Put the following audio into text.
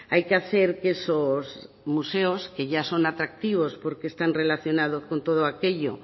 hay que hacer que esos museos que ya son atractivos porque están relacionados con todo aquello